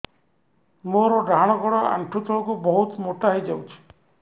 ମୋର ଡାହାଣ ଗୋଡ଼ ଆଣ୍ଠୁ ତଳକୁ ବହୁତ ମୋଟା ହେଇଯାଉଛି